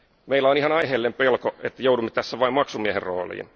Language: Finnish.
Meillä on ihan aiheellinen pelko, että joudumme tässä vain maksumiehen rooliin.